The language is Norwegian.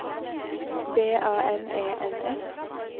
B A N E N S